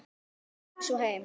Hleypur svo heim.